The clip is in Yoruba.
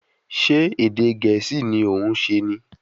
Ṣé ẹ̀dẹ̀ Gẹ̀ẹ́sì ni òún ṣe ni?